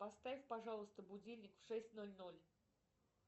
поставь пожалуйста будильник в шесть ноль ноль